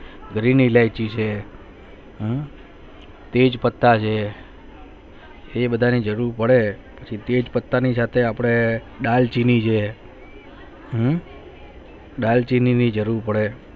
green ઈલાયચી છે આહ તેજ પત્તા છે હે વધારે જરૂર પડે તેજ પત્તા ની અપને મળે દાળચીની છે હમ દાલચીની ભી